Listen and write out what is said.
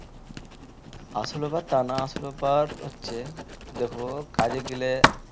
আসল ব্যাপার তা না আসল ব্যাপার হচ্ছে দেখো কাজে গেলে